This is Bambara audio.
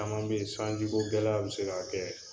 Caman be ye sanji ko gɛlɛya be se k'a kɛ.